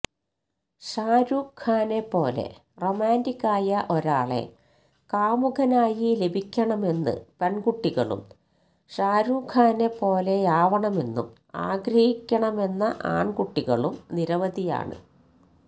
ഷാരുഖ് ഖാനെപ്പോലെ റൊമാന്റിക് ആയ ഒരാളെ കാമുകനായി ലഭിക്കണമെന്ന് പെണ്കുട്ടികളും ഷാരുഖ് ഖാനെ പോലെയാവണമെന്നും ആഗ്രഹിക്കണമെന്ന ആണ് കുട്ടികളും നിരവധിയാണ്